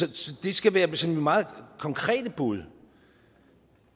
det så det skal være mit sådan meget konkrete bud